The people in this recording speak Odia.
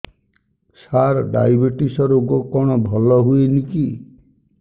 ସାର ଡାଏବେଟିସ ରୋଗ କଣ ଭଲ ହୁଏନି କି